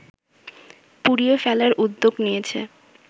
পুড়িয়ে ফেলার উদ্যোগ নিয়েছে